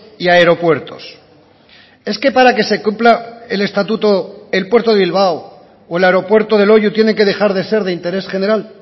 y aeropuertos es que para que se cumpla el estatuto el puerto de bilbao o el aeropuerto de loiu tienen que dejar de ser de interés general